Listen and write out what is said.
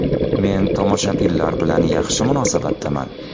Men tomoshabinlar bilan yaxshi munosabatdaman.